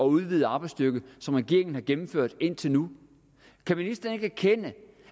udvidet arbejdsstyrke som regeringen har gennemført indtil nu kan ministeren ikke erkende